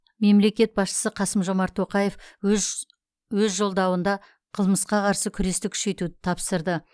мемлекет басшысы қасым жомарт тоқаев өж өз жолдауында қылмысқа қарсы күресті күшейтуді тапсырды